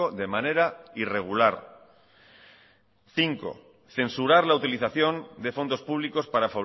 de manera irregular cinco censurar la utilización de fondos públicos para